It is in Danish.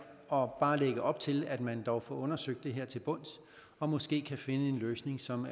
og bare lægge op til at man dog får undersøgt det her til bunds og måske kan finde en løsning som